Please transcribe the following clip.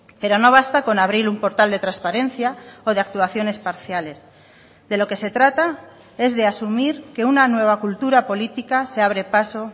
pero no basta con abrir un portal de transparencia o de actuaciones parciales de lo que se trata es de asumir que una nueva cultura política se abre paso